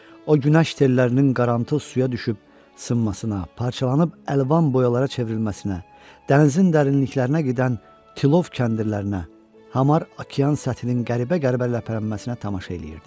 O günəş tellərinin qarantlı suya düşüb sınmasına, parçalanıb əlvan boyalara çevrilməsinə, dənizin dərinliklərinə gedən tilov kəndirlərinə, hamar okean səthinin qəribə-qəribə ləpələnməsinə tamaşa eləyirdi.